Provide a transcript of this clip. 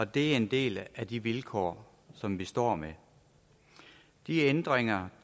det er en del af de vilkår som vi står med de ændringer